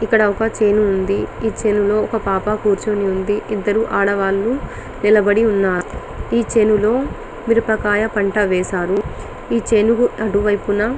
ఇక్కడ ఒక చేను ఉంది. ఈ చేనులో ఒక పాపా కూర్చొని ఉంది. ఇద్దరు ఆడవాళ్ళూ నిలబడి ఉన్నారు. ఈ చేను లో మిరపకాయ పంట వేశారు. ఈ చేను కు అటు వైపునా --